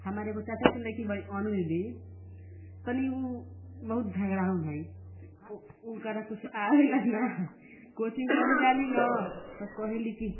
हमार एगो चाचा के लईकी बाड़ी अनु दीदी तनी ऊ बहुत झगड़ाहुन हइ उनकरा कुछ आवेला ना कोचिंग करे जाली न त कहेली की --